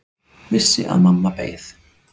Vissi að mamma beið.